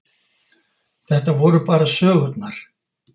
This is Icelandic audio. Þetta voru bara sögurnar.